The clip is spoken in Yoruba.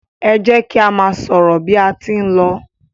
e jẹ ki a má sọrọ bi a tí n ló